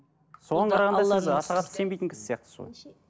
соған қарағанда сіз аса қатты сенбейтін кісі сияқтысыз ғой